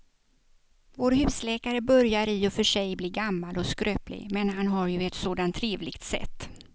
Vår husläkare börjar i och för sig bli gammal och skröplig, men han har ju ett sådant trevligt sätt!